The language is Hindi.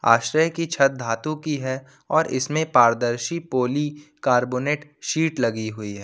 आश्रय की छत धातु की है और इसमें पारदर्शी पॉली कार्बोनेट सीट लगी हुई है।